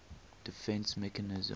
defence mechanism